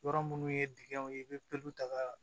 Yɔrɔ minnu ye dingɛw ye i bɛ pulu ta ka